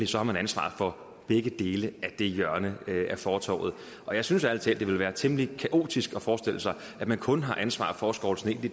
så har ansvaret for begge dele af det hjørne af fortovet og jeg synes ærlig talt det ville være temmelig kaotisk at forestille sig at man kun har ansvaret for at skovle sne på det